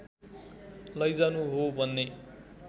लैजानु हो भन्ने